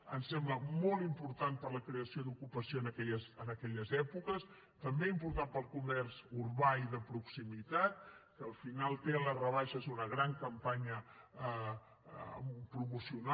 ens sembla molt important per a la creació d’ocupació en aquelles èpoques també important per al comerç urbà i de proximitat que al finat té en les rebaixes una gran campanya promocional